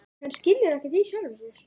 Hann skilur ekkert í sjálfum sér.